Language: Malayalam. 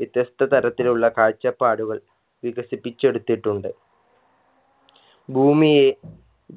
വ്യത്യസ്ത തരത്തിലുള്ള കാഴ്ചപ്പാടുകൾ വികസിപ്പിച്ചെടുത്തിട്ടുണ്ട് ഭൂമിയെ